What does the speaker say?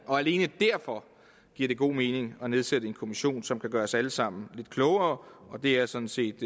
alene derfor giver det god mening at nedsætte en kommission som kan gøre os alle sammen lidt klogere og det er sådan set